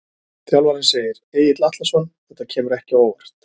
Þjálfarinn segir- Egill Atlason Þetta kemur ekki á óvart.